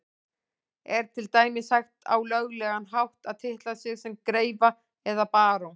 Er til dæmis hægt á löglegan hátt að titla sig sem greifa eða barón?